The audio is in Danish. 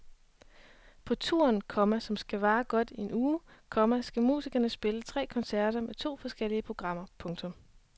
På turen, komma som skal vare godt en uge, komma skal musikerne spille tre koncerter med to forskellige programmer. punktum